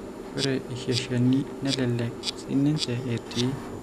Ore iseizureni nelelek siininche etii.